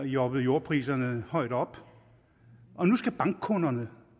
jobbet jordpriserne højt op og nu skal bankkunderne